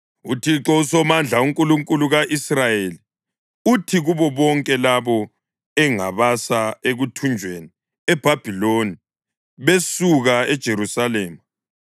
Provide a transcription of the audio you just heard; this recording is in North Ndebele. UThixo uSomandla, uNkulunkulu ka-Israyeli uthi kubo bonke labo engabasa ekuthunjweni eBhabhiloni besuka eJerusalema: